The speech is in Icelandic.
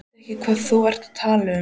Ég veit ekki hvað þú ert að tala um.